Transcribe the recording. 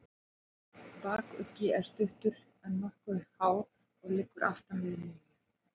Bakuggi er stuttur, en nokkuð hár og liggur aftan við miðju.